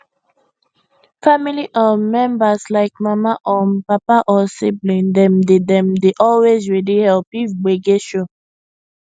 family um members like mama um papa or sibling dem dey dem dey always ready help if gbege show